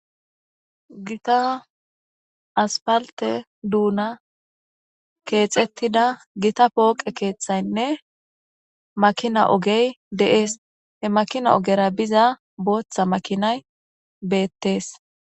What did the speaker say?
Gitta asphalte dunnan kexxetida gitta poqe kethaynne makinna ogey de7es he makina ogera biza boththa makinay bettees.